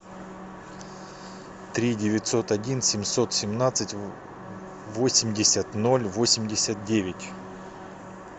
три девятьсот один семьсот семнадцать восемьдесят ноль восемьдесят девять